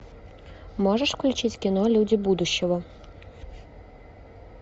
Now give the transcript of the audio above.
можешь включить кино люди будущего